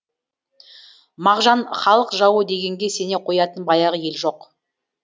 мағжан халық жауы дегенге сене қоятын баяғы ел жоқ